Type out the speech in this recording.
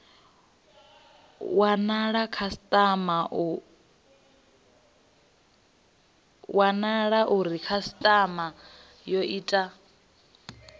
wanala uri khasitama yo ita